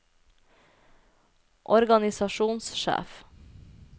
organisasjonssjef